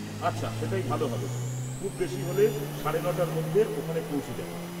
আচ্ছা, সেটাই ভালো হবে, খুব বেশি হলে সাড়ে নটার মধ্যে ওখানে পৌঁছে যাব।